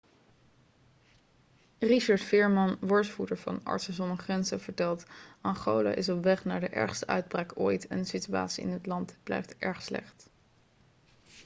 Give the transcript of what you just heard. richard veerman woordvoerder van artsen zonder grenzen vertelt: 'angola is op weg naar de ergste uitbraak ooit en de situatie in het land blijft erg slecht.'